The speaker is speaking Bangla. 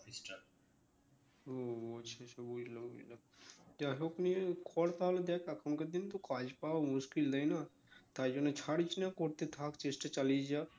ও আচ্ছা আচ্ছা বুঝলাম যাইহোক নিয়ে কর তাহলে দেখ এখনকার দিন তো কাজ পাওয়া মুশকিল তাই না? তাই জন্য ছাড়িস না করতে থাক চেষ্টা চালিয়ে যা